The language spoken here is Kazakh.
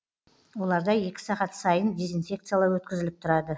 оларда екі сағат сайын дезинфекциялау өткізіліп тұрады